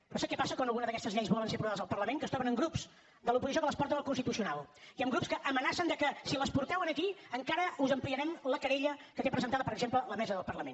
però sap què passa quan algunes d’aquestes lleis volen ser aprovades al parlament que es troben amb grups de l’oposició que les porten al constitucional i amb grups que amenacen que si les porteu aquí encara us ampliarem la querella que té presentada per exemple la mesa del parlament